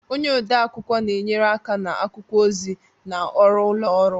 Onye ode akwụkwọ na-enyere aka na akwụkwọ ozi na ọrụ ụlọ ọrụ